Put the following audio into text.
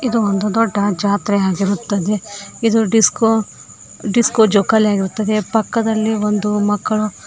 ಇದು ಒಂದು ದೊಡ್ಡ ಜಾತ್ರೆ ಆಗಿರುತ್ತದೆ ಇದು ಡಿಸ್ಕೋ ಡಿಸ್ಕೋ ಜೋಕಾಲಿ ಆಗಿರುತ್ತದೆ ಪಕ್ಕದಲ್ಲಿ ಒಂದು ಮಕ್ಕಳು --